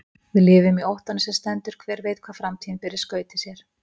Við lifum í óttanum sem stendur, hver veit hvað framtíðin ber í skauti sér?